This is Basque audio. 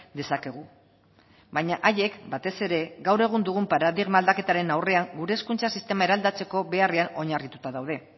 dezakegu baina haiek batez ere gaur egun dugun paradigma aldaketaren aurrean gure hezkuntza sistema eraldatzeko beharrean oinarrituta daude